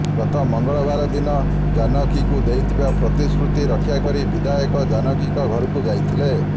ଗତ ମଙ୍ଗଳବାର ଦିନ ଜାନକୀଙ୍କୁ ଦେଇଥିବା ପ୍ରତିଶୃତି ରକ୍ଷା କରି ବିଧାୟକ ଜାନକୀଙ୍କ ଘରକୁ ଯାଇଥିଲେ